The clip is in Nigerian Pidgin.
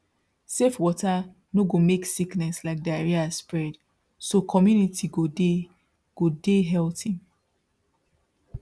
safe water no go make sickness like diarrhea spread so community go dey go dey healthy